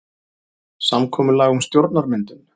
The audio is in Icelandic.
Samkomulag um stjórnarmyndun